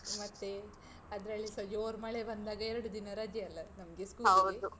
ಮತ್ತೇ? ಅದ್ರಲ್ಲಿಸ ಜೋರ್ ಮಳೆ ಬಂದಾಗ ಎರಡು ದಿನ ರಜೆ ಅಲ್ಲಾ ನಮ್ಗೆ school ಗೆ?